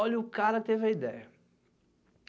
Olha o cara que teve a ideia.